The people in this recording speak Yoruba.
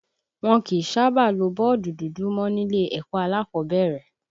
Wọn kì í sábà lo bọ́ọ̀dù dúdú mọ nílé ẹ̀kọ́ alákọ̀ọ́bẹ̀rẹ̀